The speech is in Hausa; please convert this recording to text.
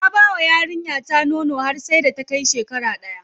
Na bawa yarinya ta nono har sai da ta kai shekara daya.